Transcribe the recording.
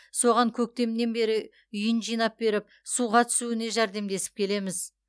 соған көктемнен бері үйін жинап беріп суға түсуіне жәрдемдесіп келеміз